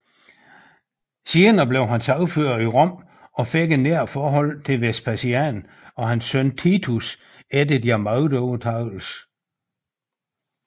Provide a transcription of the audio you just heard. Senere blev han sagfører i Rom og fik et nært forhold til Vespasian og hans søn Titus efter deres magtovertagelse